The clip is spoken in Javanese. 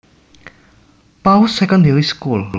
Pauls Secondary School